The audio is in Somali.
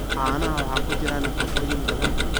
Caanaha waxaa ku jira nafaqooyin badan.